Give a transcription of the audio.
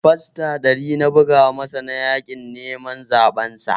Fasta ɗari na buga masa na yaƙin neman zaben sa